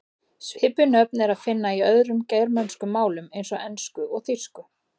Svipuð nöfn er að finna í öðrum germönskum málum eins og ensku og þýsku.